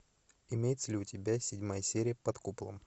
имеется ли у тебя седьмая серия под куполом